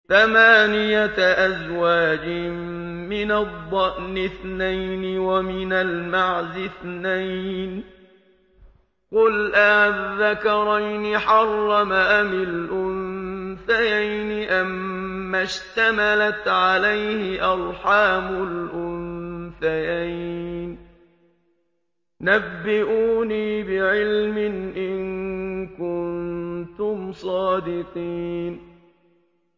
ثَمَانِيَةَ أَزْوَاجٍ ۖ مِّنَ الضَّأْنِ اثْنَيْنِ وَمِنَ الْمَعْزِ اثْنَيْنِ ۗ قُلْ آلذَّكَرَيْنِ حَرَّمَ أَمِ الْأُنثَيَيْنِ أَمَّا اشْتَمَلَتْ عَلَيْهِ أَرْحَامُ الْأُنثَيَيْنِ ۖ نَبِّئُونِي بِعِلْمٍ إِن كُنتُمْ صَادِقِينَ